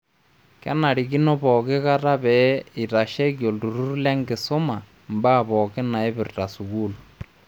Kenarikino pooki kata pee eitasheki olturur lenkisuma mbaa pookin naipirta sukuul.